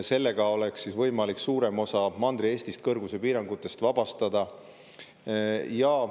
Sellega oleks võimalik suurem osa Mandri-Eestist kõrguspiirangutest vabastada.